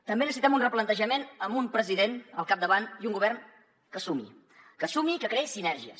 també necessitem un replantejament amb un president al capdavant i un govern que sumi que sumi i que creï sinergies